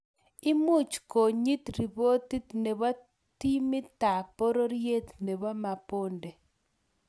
Imuch konyit ripotit nebo timitab pororiet nebo mabonde